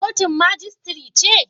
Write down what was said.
Kotun majistire ce?